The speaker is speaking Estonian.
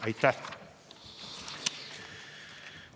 Aitäh!